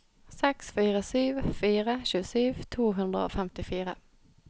seks fire sju fire tjuesju to hundre og femtifire